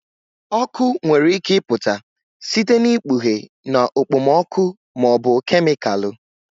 Ọkụ nwere ike ịpụta site na ikpughe na okpomọkụ ma ọ bụ kemịkalụ